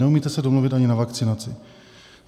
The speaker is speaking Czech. Neumíte se domluvit ani na vakcinaci.